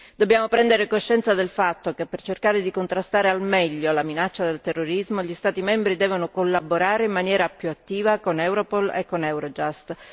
Dobbiamo prendere coscienza del fatto che, per cercare di contrastare al meglio la minaccia del terrorismo, gli Stati membri devono collaborare in maniera più attiva con Europol e con Eurojust.